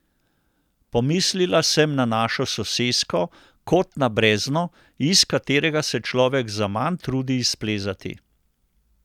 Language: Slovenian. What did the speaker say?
Pomislila sem na našo sosesko kot na brezno, iz katerega se človek zaman trudi izplezati.